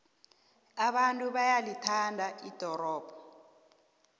abantu bayalithanda ldorobho